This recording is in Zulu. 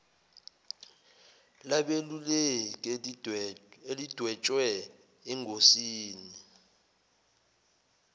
labeluleki elidwetshwe engosini